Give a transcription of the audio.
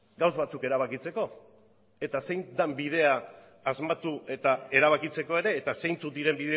gauza batzuk erabakitzeko eta zein den bidea asmatu eta erabakitzeko ere eta zeintzuk diren